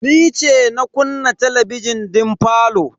Ni ce na kunna talabijin din falo.